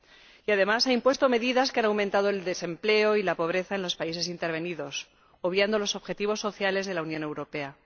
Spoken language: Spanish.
Y, además, ha impuesto medidas que han aumentado el desempleo y la pobreza en los países intervenidos, obviando los objetivos sociales de la Unión Europea.